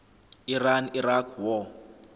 iran iraq war